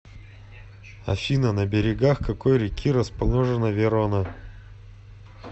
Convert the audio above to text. афина на берегах какой реки расположена верона